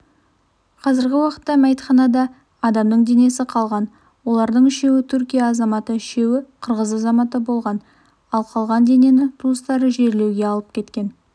қазіргі уақытта мәйітханада адамның денесі қалған олардың үшеуі түркия азаматы үшеуі қырғыз азаматы болған ал қалған денені туыстары жерлеуге алып кеткен